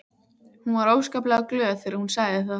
Hún var óskaplega glöð þegar hún sagði það.